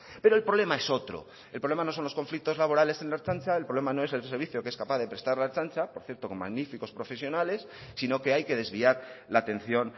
pero el problema es otro el problema no son los conflictos laborales en la ertzaintza el problema no es el servicio que es capaz de prestar la ertzaintza por cierto con magníficos profesionales sino que hay que desviar la atención